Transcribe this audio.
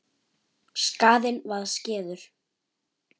Skaðinn var skeður.